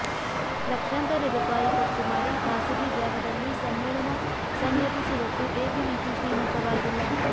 ಲಕ್ಷಾಂತರ ರೂಪಾಯಿ ಖರ್ಚು ಮಾಡಿ ಖಾಸಗಿ ಜಾಗದಲ್ಲಿ ಸಮ್ಮೇಳನ ಸಂಘಟಿಸುವಷ್ಟು ಎಬಿವಿಪಿ ಶ್ರೀಮಂತವಾಗಿಲ್ಲ